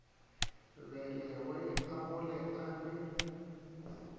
belegwe a gole a be